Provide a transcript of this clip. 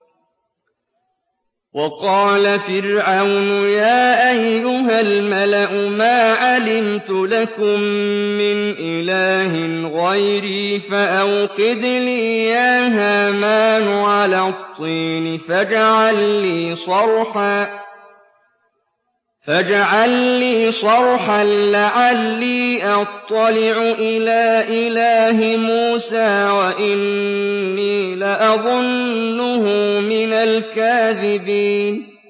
وَقَالَ فِرْعَوْنُ يَا أَيُّهَا الْمَلَأُ مَا عَلِمْتُ لَكُم مِّنْ إِلَٰهٍ غَيْرِي فَأَوْقِدْ لِي يَا هَامَانُ عَلَى الطِّينِ فَاجْعَل لِّي صَرْحًا لَّعَلِّي أَطَّلِعُ إِلَىٰ إِلَٰهِ مُوسَىٰ وَإِنِّي لَأَظُنُّهُ مِنَ الْكَاذِبِينَ